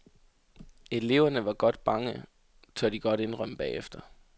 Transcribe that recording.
Eleverne var godt bange, tør de godt indrømme bagefter.